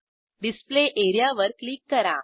display एरियावर click करा